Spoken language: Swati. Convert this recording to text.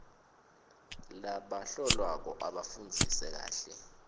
labahlolwako abafundzisise kahle